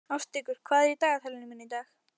Ástríkur, hvað er í dagatalinu mínu í dag?